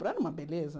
Era uma beleza.